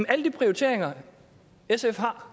alle de prioriteringer sf har